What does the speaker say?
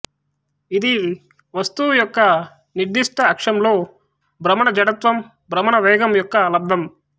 ఇది వస్తువు యొక్క నిర్ధిష్ట అక్షంలో భ్రమణ జడత్వం భ్రమణ వేగం యొక్క లబ్ధం